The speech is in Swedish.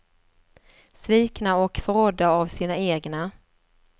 Svikna och förrådda av sina egna.